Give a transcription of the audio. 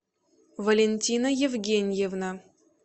валентина евгеньевна